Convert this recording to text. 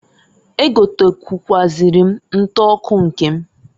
E gotekwuazịrị m nta ọkụ nke m.